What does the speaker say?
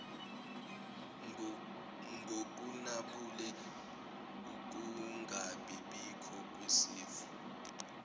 ngokunabile ukungabibikho kwesifo